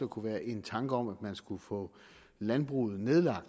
kunne være en tanke om at man skulle få landbruget nedlagt